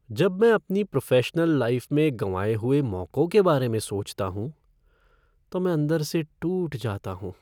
जब मैं अपनी प्रोफ़ेशनल लाइफ़ में गँवाए हुए मौकों के बारे में सोचता हूँ तो मैं अंदर से टूट जाता हूँ।